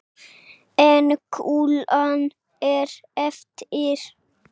En kúlan er eftir.